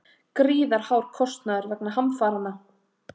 Gríðarhár kostnaður vegna hamfaranna